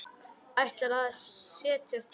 Ætlar að set jast þar.